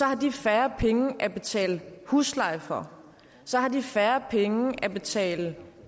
har de færre penge at betale husleje for så har de færre penge at betale